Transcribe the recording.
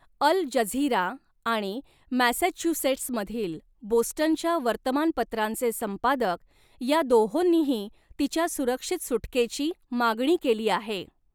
अल Jazeera आणि Massachusetts मधील बोस्टनच्या वर्तमानपत्रांचे संपादक ह्या दोहोंनीही तिच्या सुरक्षित सुटकेची मागणी केली आहे.